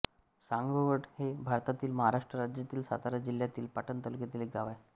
सांगवड हे भारतातील महाराष्ट्र राज्यातील सातारा जिल्ह्यातील पाटण तालुक्यातील एक गाव आहे